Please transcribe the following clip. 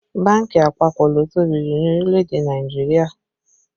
Bánkì àpapọ̀ ló tóbi jù ní orílẹ̀ èdè Nàìjíríà